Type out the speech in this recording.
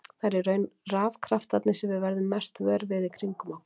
Það eru í raun rafkraftarnir sem við verðum mest vör við í kringum okkur.